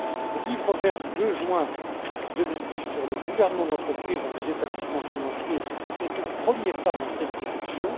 Le livre vert du 2 juin 2010 sur le gouvernement d'entreprise dans les établissements financiers est un premier pas dans cette direction.